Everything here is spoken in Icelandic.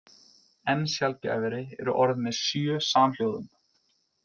Enn sjaldgæfari eru orð með sjö samhljóðum.